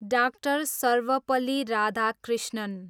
डा. सर्वपल्ली राधाकृष्णन